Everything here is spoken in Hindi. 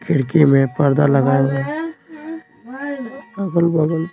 खिड़की में पर्दा लगा हुआ है आगल बगल।